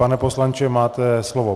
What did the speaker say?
Pane poslanče, máte slovo.